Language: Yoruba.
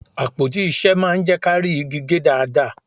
Àpótí ìṣe máa ń jẹ́ kí á rí igi gé dáadáa